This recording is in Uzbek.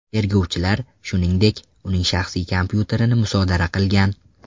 Tergovchilar, shuningdek, uning shaxsiy kompyuterini musodara qilgan.